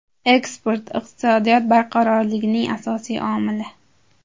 Eksport – iqtisodiyot barqarorligining asosiy omili.